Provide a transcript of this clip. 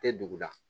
Tɛ dugu da